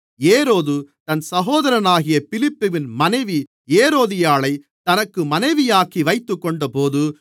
ஏரோது தன் சகோதரனாகிய பிலிப்புவின் மனைவி ஏரோதியாளைத் தனக்கு மனைவியாக்கி வைத்துக்கொண்டபோது